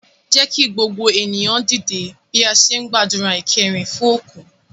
Jẹ́ kí gbogbo ènìyàn dìde bí a ṣe ń gbàdúrà ìkẹyìn fún òkú